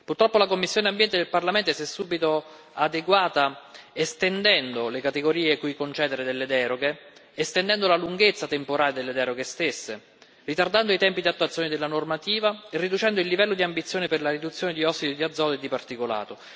Purtroppo la commissione ENVI del Parlamento si è subito adeguata, estendendo le categorie cui concedere deroghe, estendendo la lunghezza temporale delle deroghe stesse, ritardando i tempi di attuazione della normativa, riducendo il livello di ambizione per la riduzione di ossidi di azoto e di particolato